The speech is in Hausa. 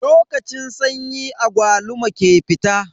Lokacin sanyi agwaluma ke fita.